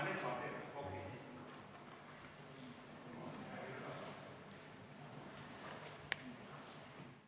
Istungi lõpp kell 14.00.